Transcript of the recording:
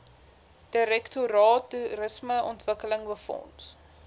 direktoraat toerismeontwikkeling befonds